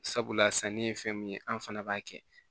Sabula sanni ye fɛn min ye an fana b'a kɛ